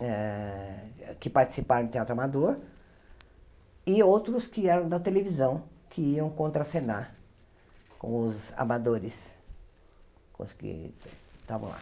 eh que participaram do Teatro Amador e outros que eram da televisão, que iam contracenar com os amadores, com os que estavam lá.